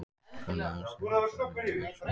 Framlag hans til haffræðinnar er um margt merkilegt.